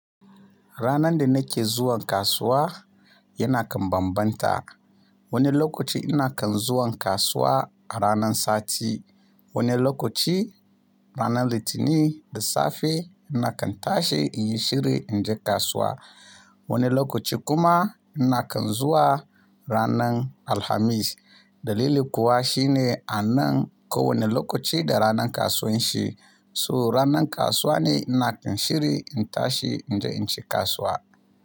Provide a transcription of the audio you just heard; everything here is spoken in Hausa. Ranar da nake zuwan kasuwa yana kan bambanta. Wani lokaci ina kan zuwan kasuwa a ranar sati, wani lokaci ranar Litinin da safe ina kan tashi in yi shiri in je kasuwa. Wani lokaci kuma ina kan zuwa ranar Alhamis. Dalili kuwa shine a nan ko wane lokaci da ranar kasuwan shi. To ranar kasuwa ne ina kan shiri in tashi in je in ci kasuwa.